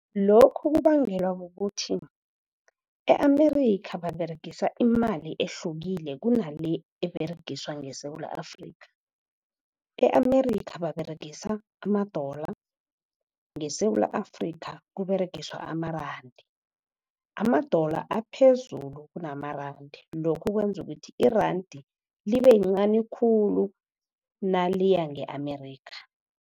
Lokhu kubangelwa kukuthi e-Amerika, baberegisa imali ehlukile kunale eberegiswa ngeSewula Afrika. E-Amerika, baberegisa ama-dollar, ngeSewula Afrika, kuberegiswa amarandi. Ama-dollar aphezulu kunamarandi, lokhu kwenza ukuthi irandi libe lincani khulu naliya nge-Amerika.